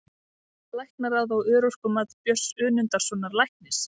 Fellst Læknaráð á örorkumat Björns Önundarsonar læknis?